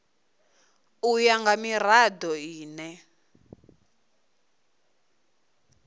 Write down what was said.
u ya nga mirado ine